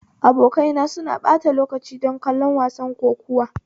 Abokaina suna ɓata lokaci don kallon wasan kokuwa